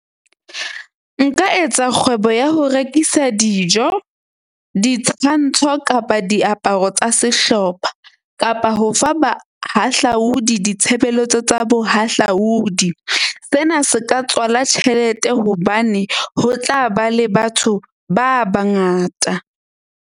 Nka etsa kgwebo ya ho rekisa dijo, ditshwantsho kapa diaparo tsa sehlopha, kapa ho fa bahahlaudi ditshebeletso tsa bohahlaudi. Sena se ka tswala tjhelete hobane ho tla ba le batho ba bangata.